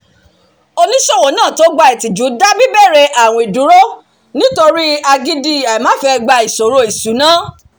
oníṣòwò náà tó gba ìtìjú dá bibere àwìn dúró nítòri agídí àìmáfẹ́gbà ìṣòro ìṣúná